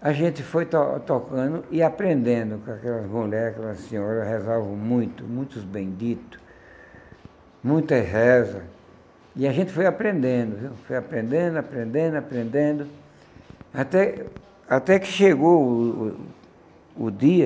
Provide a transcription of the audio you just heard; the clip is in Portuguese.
a gente foi to tocando e aprendendo com aquelas mulheres, com aquelas senhoras, rezavam muito, muitos benditos, muitas rezas, e a gente foi aprendendo viu, foi aprendendo, aprendendo, aprendendo, até até que chegou o o o dia